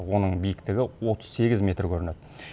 оның биіктігі отыз сегіз метр көрінеді